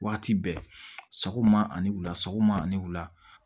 Waati bɛɛ sɔgɔma ani wula sɔgɔma ani wula